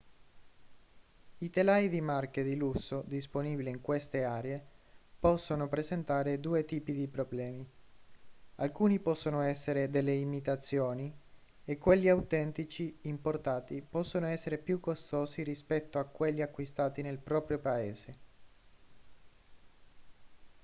i telai di marche di lusso disponibili in queste aree possono presentare due tipi di problemi alcuni possono essere delle imitazioni e quelli autentici importati possono essere più costosi rispetto a quelli acquistati nel proprio paese